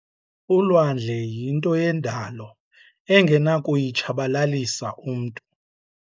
Ulwandle yinto yendalo angenakuyitshabalalisa umntu.